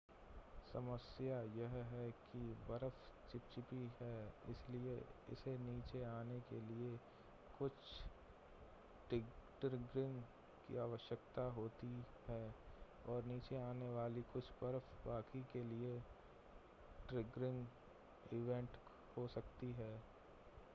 समस्या यह है कि बर्फ चिपचिपी है इसलिए इसे नीचे आने के लिए कुछ ट्रिगरिंग की आवश्यकता होती है और नीचे आने वाली कुछ बर्फ बाकी के लिए ट्रिगरिंग इवेंट हो सकती है